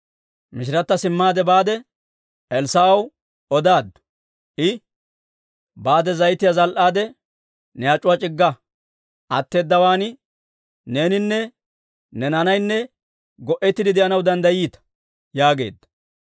Mishirata simmaade baade, Elssaa'ew odaaddu. I, «Baade zayitiyaa zal"aadde, ne ac'uwaa c'igga. Atteedawaan neeninne ne naanaynne go'ettiide de'anaw danddayiita» yaageedda.